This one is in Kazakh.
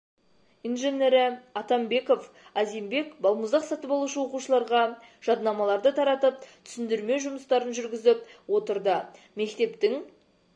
инженері атанбеков азимбек балмұздақ сатып алушы оқушыларға жаднамаларды таратып түсіндірме жұмыстарын да жүргізіп отырды мектептің